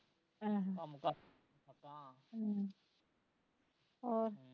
ਅਹ ਆਹ ਹਮ ਹੋਰ